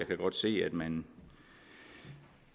kan godt se at man